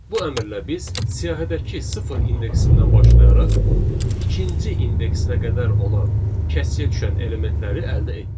Bu əmrlə biz siyahıdakı sıfır indeksindən başlayaraq ikinci indeksinə qədər olan kəsiyə düşən elementləri əldə etdik.